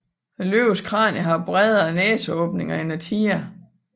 Løvens kranie har bredere næseåbninger end tigeren